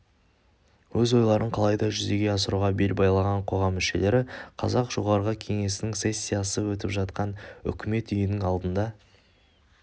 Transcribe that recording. өз ойларын қалайда жүзеге асыруға бел байлаған қоғам мүшелері қазақ жоғарғы кеңесінің сессиясы өтіп жатқан үкімет үйінің алдына